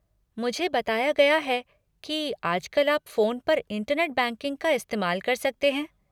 मुझे बताया गया है कि आजकल आप फोन पर इंटरनेट बैंकिंग का इस्तेमाल कर सकते हैं।